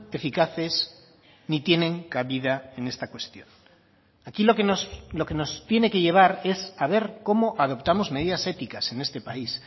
eficaces ni tienen cabida en esta cuestión aquí lo que nos tiene que llevar es a ver cómo adoptamos medidas éticas en este país